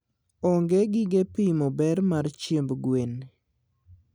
onge gige pimo ber mar chiemb gwen.